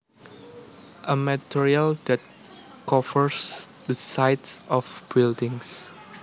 A material that covers the sides of buildings